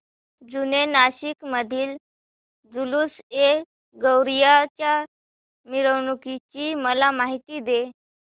जुने नाशिक मधील जुलूसएगौसिया च्या मिरवणूकीची मला माहिती दे